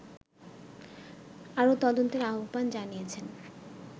আরো তদন্তের আহবান জানিয়েছেন